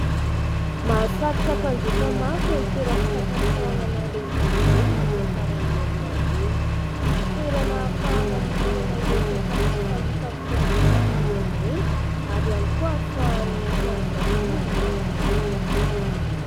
Mahasarika mpanjifa maro ireny toeram-pisakafoanana lehibe ireny rehefa faran'ny herinandro iny. Toerana ahafahana mihinana ireo sakafo tsy fahita amin'ny fiainana andavanandro ireny ary ihany koa ahafahan'ny fianankaviana miala voly.